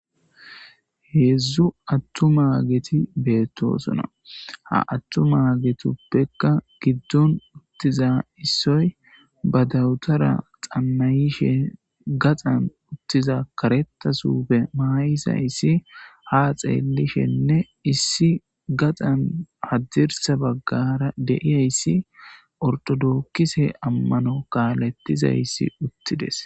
heedzdzu attumageti beettosona ha attumaagetuppekka giddon uttiza issoy ba dawutara xanna'ishe gaxan uttiza kareta sufe maayizaysi ha xeellishenne issi gaxan haddirsa baggara de'iyayssi ortodokkise ammano kaalettizayssi uttides